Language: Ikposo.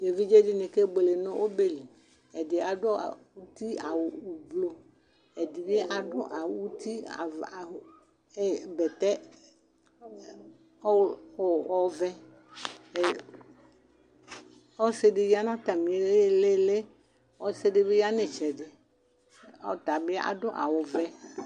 evidze di ni ke buele no ɔbɛ li ɛdi adu uti awu ublɔ ɛdi bi adu awu uti ava bɛtɛ ɔvɛ ɔsi di ya n'atami ilili ɔsi di bi ya n'itsɛdi ɔtabi adu awu vɛ